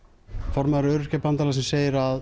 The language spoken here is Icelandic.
formaður Öryrkjabandalagsins segir að